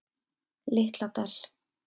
Litla Dal